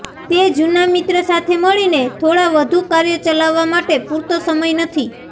તે જૂના મિત્ર સાથે મળીને થોડા વધુ કાર્યો ચલાવવા માટે પૂરતો સમય નથી